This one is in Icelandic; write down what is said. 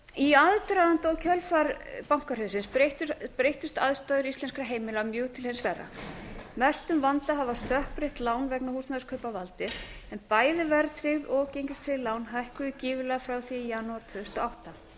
í aðdraganda og kjölfar bankahrunsins breyttust aðstæður íslenskra heimila mjög til hins verra mestum vanda hafa stökkbreytt lán vegna húsnæðiskaupa valdið en bæði verðtryggð og gengistryggð lán hækkuðu gífurlega frá því í janúar tvö þúsund og átta